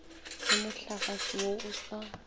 ge mohlagase wo o sa